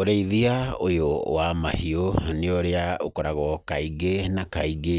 Ũrĩithia ũyũ wa mahiũ nĩ ũrĩa ũkoragwo kaingĩ na kaingĩ